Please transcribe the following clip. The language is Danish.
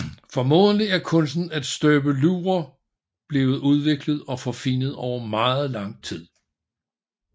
Formodentlig er kunsten at støbe lurer blevet udviklet og forfinet over meget lang tid